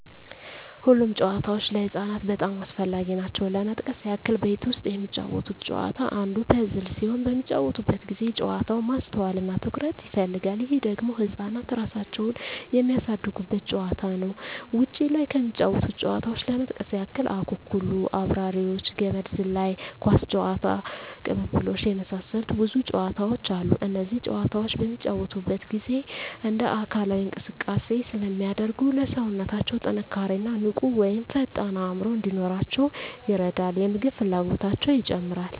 ሁሉም ጨዋታዎች ለህፃናት በጣም አስፈላጊ ናቸው ለመጥቀስ ያክል ቤት ውስጥ የሚጫወቱት ጨዋታ አንዱ ፐዝል ሲሆን በሚጫወቱበት ጊዜ ጨዋታው ማስተዋል እና ትኩረት ይፈልጋል ይህ ደግሞ ህፃናት እራሳቸውን የሚያሳድጉበት ጨዋታ ነው ውጭ ላይ ከሚጫወቱት ጨዋታዎች ለመጥቀስ ያክል አኩኩሉ....፣አብራሪዎች፣ ገመድ ዝላይ፣ ኳስ ጨዋታ፣ ቅልብልቦሽ የመሳሰሉት ብዙ ጨዋታዎች አሉ እነዚህ ጨዋታዎች በሚጫወቱበት ጊዜ እንደ አካላዊ እንቅስቃሴ ስለሚያደርጉ ለሠውነታው ጥንካሬ እና ንቁ ወይም ፈጣን አዕምሮ እንዲኖራቸው ይረዳል የምግብ ፍላጎታቸው ይጨምራል